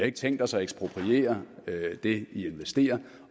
ikke tænkt os at ekspropriere det i investerer